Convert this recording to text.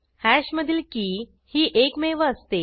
हॅशमधील की ही एकमेव असते